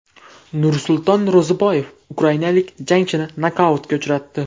Nursulton Ro‘ziboyev ukrainalik jangchini nokautga uchratdi.